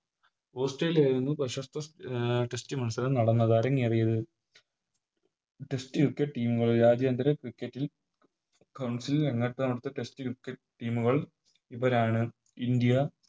Australia ആയിരുന്നു പ്രശസ്ത Test മത്സരം നടന്നത് അരങ്ങേറിയത് Cricket കൾ രാജ്യന്തര Cricket ൽ Council കൾ ഇവരാണ് ഇന്ത്യ